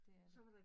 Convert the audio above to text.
Det er det